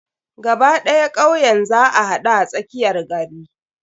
Gaba ɗaya kauyen za a haɗu a tsakiyar gari.